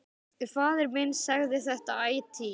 Faðir minn sagði þetta ætíð.